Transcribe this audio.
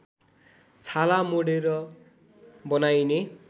छाला मोडेर बनाइने